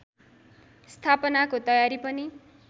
स्थापनाको तयारी पनि